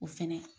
O fɛnɛ